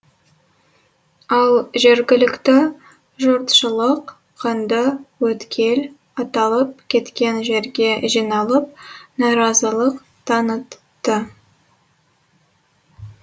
ал жергілікті жұртшылық қанды өткел аталып кеткен жерге жиналып наразылық танытты